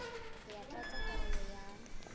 ho ya tlatsa karolo ya